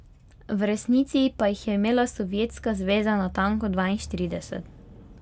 V resnici pa jih je imela Sovjetska zveza natanko dvainštirideset.